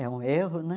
É um erro, né?